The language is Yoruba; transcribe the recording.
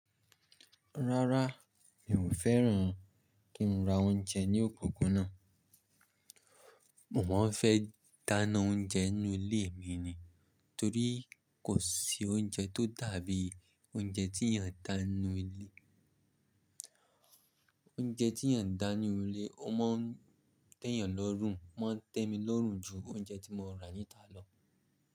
Rárá, mi ò fẹ́ràn kí n ra oúnjẹ ní òpópónà. Mo máa ń fẹ́ dáná oúnjẹ nínú ilé mi ni. Torí kò sí oúnjẹ tó dàbí oúnjẹ tí iyan ń dá nínú ilé. Oúnjẹ tí ìyàn ń dá nínú ilé, ó máa ń tẹ́ ènìyàn lọ́rùn, o máa ń tẹ́ mi lọ́rùn ju oúnjẹ tí mo rà níta lọ.